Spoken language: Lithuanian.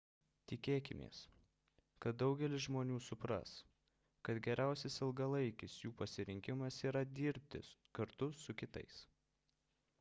tikėkimės kad daugelis žmonių supras kad geriausias ilgalaikis jų pasirinkimas yra dirbti kartu su kitais